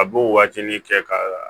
A b'o waatini kɛ ka